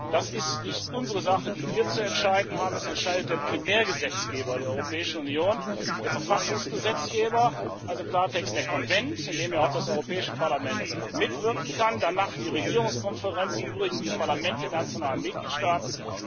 Das ist nicht unsere Sache, die wir zu entscheiden haben, das entscheidet der Primärgesetzgeber der Europäischen Union, der Verfassungsgesetzgeber, also im Klartext der Konvent, in dem ja auch das Europäische Parlament mitwirken kann, danach die Regierungskonferenz und im Übrigen die Parlamente nationaler Mitgliedstaaten.